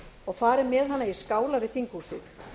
og farið með hana í skála við þinghúsið